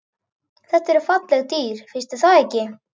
Þetta eru falleg dýr, finnst þér ekki?